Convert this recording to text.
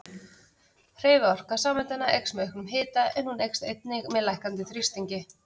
Hreyfiorka sameindanna eykst með auknum hita en hún eykst einnig með lækkandi þrýstingi.